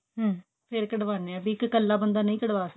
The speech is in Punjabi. ਹਮ ਫੇਰ ਕਢਵਾਨੇ ਹਾਂ ਵੀ ਇੱਕ ਕੱਲਾ ਬੰਦਾ ਨਹੀਂ ਕਢਵਾ ਸਕਦਾ